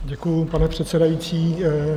Děkuji, pane předsedající.